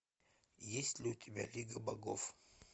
есть ли у тебя лига богов